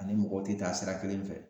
Ani mɔgɔw te taa sira kelen fɛ